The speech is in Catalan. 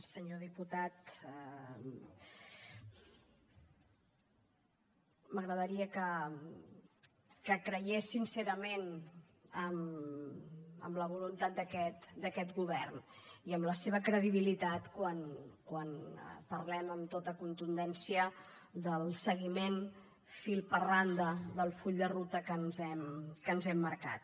senyor diputat m’agradaria que cregués sincerament en la voluntat d’aquest govern i en la seva credibilitat quan parlem amb tota contundència del seguiment fil per randa del full de ruta que ens hem marcat